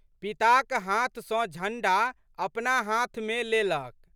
पिताक हाथ सँ झंडा अपना हाथमे लेलक।